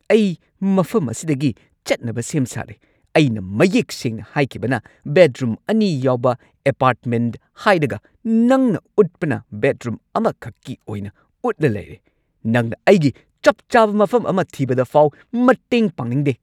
ꯑꯩ ꯃꯐꯝ ꯑꯁꯤꯗꯒꯤ ꯆꯠꯅꯕ ꯁꯦꯝ ꯁꯥꯔꯦ ꯫ ꯑꯩꯅ ꯃꯌꯦꯛ ꯁꯦꯡꯅ ꯍꯥꯏꯈꯤꯕꯅ ꯕꯦꯗꯔꯨꯝ ꯑꯅꯤ ꯌꯥꯎꯕ ꯑꯦꯄꯥꯔꯠꯃꯦꯟꯠ ꯍꯥꯏꯔꯒ ꯅꯪꯅ ꯎꯠꯄꯅ ꯕꯦꯗꯔꯨꯝ ꯑꯃꯈꯛꯀꯤ ꯑꯣꯏꯅ ꯎꯠꯂ ꯂꯩꯔꯦ꯫ ꯅꯪꯅ ꯑꯩꯒꯤ ꯆꯞ ꯆꯥꯕ ꯃꯐꯝ ꯑꯃ ꯊꯤꯕꯗ ꯐꯥꯎ ꯃꯇꯦꯡ ꯄꯥꯡꯅꯤꯡꯗꯦ꯫